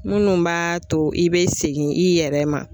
Minnu b'a to i bɛ segin i yɛrɛ ma.